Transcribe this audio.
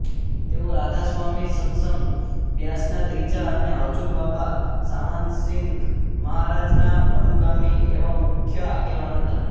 તેઓ રાધાસ્વામી સત્સંગ બ્યાસના ત્રીજા અને હજૂર બાબા સાવનસિંઘ મહારાજના અનુગામી એવા મુખ્ય આગેવાન હતા